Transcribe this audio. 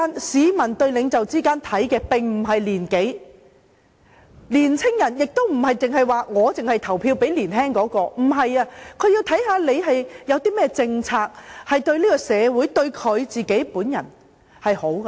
市民對領袖的看法並不在於其年紀，年輕人亦不會只投票給年輕的參選人，他們會看參選人有何政綱，對社會和選民會否帶來好處。